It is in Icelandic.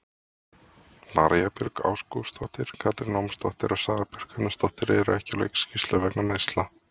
María Björg Ágústsdóttir, Katrín Ómarsdóttir og Sara Björk Gunnarsdóttir eru ekki á leikskýrslu vegna meiðsla.